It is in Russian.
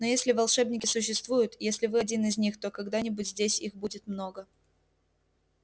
но если волшебники существуют если вы один из них то когда-нибудь здесь их будет много